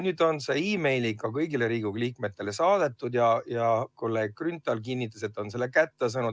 Nüüd on see meili teel kõigile Riigikogu liikmetele saadetud ja ka kolleeg Grünthal kinnitas, et ta on selle kirja kätte saanud.